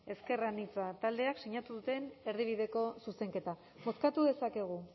ezker anitza taldeak sinatu duten erdibideko zuzenketa bozkatu dezakegu